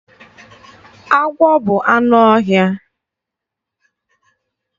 Agwọ bụ anụ ọhịa.